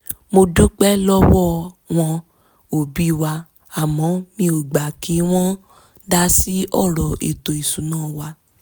mo dúpẹ́ lọ́wọ́ wọn òbí wa àmọ́ mi ò gbà kí wọ́n dásí ọ̀rọ̀ ètò ìṣúná wa